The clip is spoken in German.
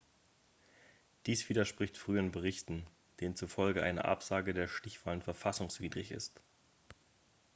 dies widerspricht früheren berichten denen zufolge eine absage der stichwahlen verfassungswidrig ist